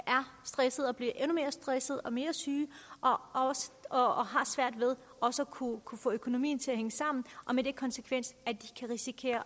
stresset og bliver endnu mere stresset og mere syge og har svært ved også at kunne kunne få økonomien til at hænge sammen med den konsekvens at de kan risikere